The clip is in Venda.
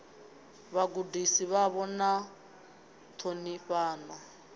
vhagudisi vhavho na u ṱhonifhana